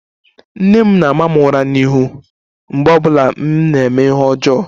Nne m na-ama m ura n'ihu mgbe ọ bụla m na-eme ihe ọjọọ